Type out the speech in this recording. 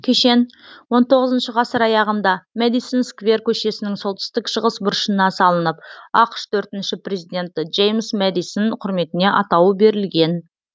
кешен он тоғызыншы ғасыр аяғында мэдисон сквер көшесінің солтүстік шығыс бұрышына салынып ақш төртінші президенті джеймс мэдисон құрметіне атауы берілген